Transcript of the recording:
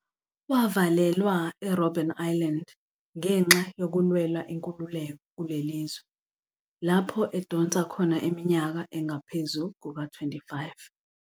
Wavalelwa eRobben Island ngenxa yokulwela inkululeko kulelizwe, lapho edonsa khona iminyaka engaphezu kuka-25.